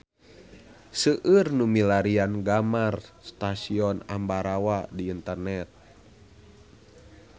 Seueur nu milarian gambar Stasiun Ambarawa di internet